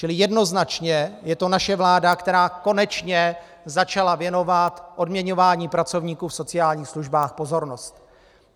Čili jednoznačně je to naše vláda, která konečně začala věnovat odměňování pracovníků v sociálních službách pozornost.